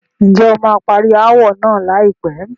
Ǹjẹ́ o máa parí ááwọ̀ náà láìpẹ́?